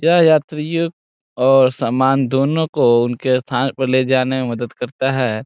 यह यात्रियों और समान दोनों को उनके स्थान पे ले जाने में मदद करता है।